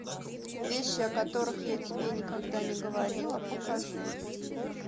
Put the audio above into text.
вещи о которых я тебе никогда не говорила покажи